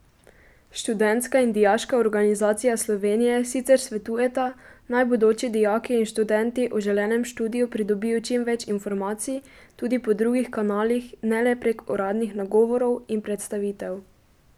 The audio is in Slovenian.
Študentska in Dijaška organizacija Slovenije sicer svetujeta, naj bodoči dijaki in študenti o želenem študiju pridobijo čim več informacij tudi po drugih kanalih ne le prek uradnih nagovorov in predstavitev.